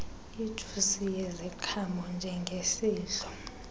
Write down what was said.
ijusi yeziqhamo njengesidlo